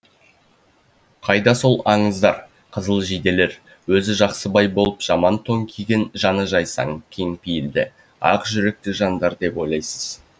қайда сол қызыл жиделер өзі жақсыбай болып жаман тон киген жаны жайсаң кең пейілді ақжүректі жандар деп ойлайсыз